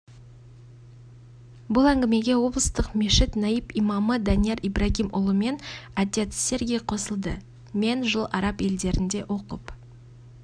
бұл әңгімеге облыстық мешіт наиб имамы данияр ибрагимұлымен отец сергий қосылды мен жыл араб елдерінде оқып